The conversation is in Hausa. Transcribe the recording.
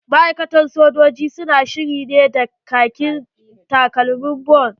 Ma'aikatan sojoji su na shiri ne da kaki da takalman boot.